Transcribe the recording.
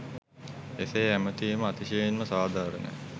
එසේ ඇමතීම අතිශයින්ම සාධාරණ